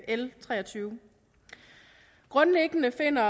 l treogtyvende grundlæggende finder